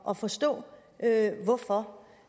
at forstå hvorfor